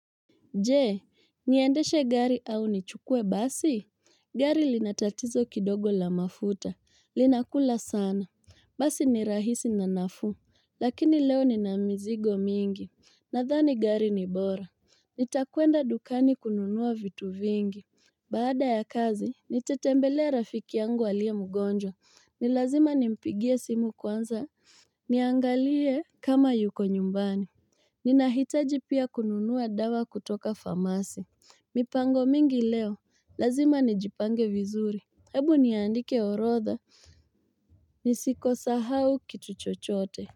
Jee, niendeshe gari au nichukue basi? Gari lina tatizo kidogo la mafuta. Linakula sana. Basi ni rahisi na nafuu. Lakini leo nina mizigo mingi. Nadhani gari ni bora. Nitakuenda dukani kununua vitu vingi. Baada ya kazi, nitatembelea rafiki yangu aliye mgonjwa. Ni lazima nimpigie simu kwanza. Niangalie kama yuko nyumbani. Ninahitaji pia kununua dawa kutoka famasi, mipango mingi leo, lazima nijipange vizuri, hebu niandike orodha, nisiko sahau kitu chochote.